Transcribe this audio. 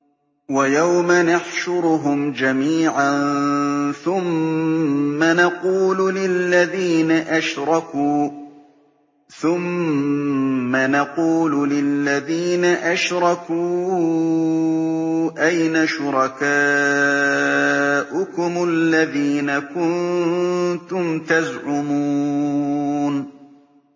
وَيَوْمَ نَحْشُرُهُمْ جَمِيعًا ثُمَّ نَقُولُ لِلَّذِينَ أَشْرَكُوا أَيْنَ شُرَكَاؤُكُمُ الَّذِينَ كُنتُمْ تَزْعُمُونَ